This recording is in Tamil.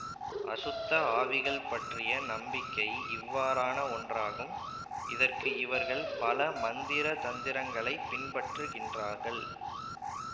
அசுத்த ஆவிகள்பற்றிய நம்பிக்கை இவ்வாறான ஒன்றாகும் இதற்கு இவர்கள் பல மந்திர தந்திரங்களைப் பின்பற்றுகின்றார்கள்